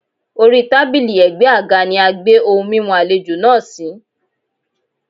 Orí tábílì ẹ̀gbẹ́ àga ni a gbé ohun mímu àlejò náà sí.